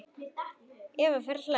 Eva fer að hlæja.